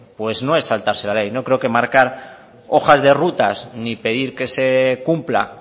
pues no es saltarse la ley no creo que marcar hojas de rutas ni pedir que se cumpla